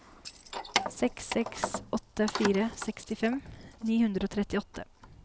seks seks åtte fire sekstifem ni hundre og trettiåtte